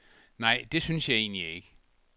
Nej, det synes jeg egentlig ikke.